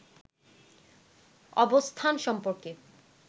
অবস্থান সম্পর্কে